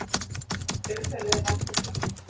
Umhverfið var heillandi.